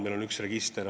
Meil on ju üks register.